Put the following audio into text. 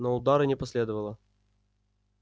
но удара не последовало